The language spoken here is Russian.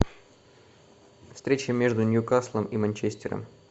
встреча между ньюкаслом и манчестером